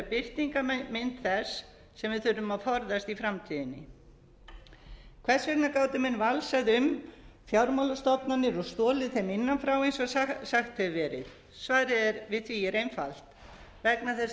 vera birtingarmynd þess sem við þurfum að forðast í framtíðinni hvers vegna gátu menn valsað um fjármálastofnanir og stolið þeim innan frá eins og sagt hefur verið svarið við því er einfalt vegna þess að